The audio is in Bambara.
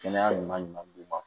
Kɛnɛya ɲuman ɲuman d'u ma